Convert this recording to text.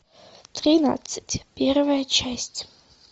тринадцать первая часть